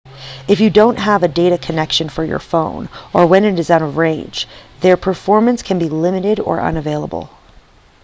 if you don't have a data connection for your phone or when it is out of range their performance can be limited or unavailable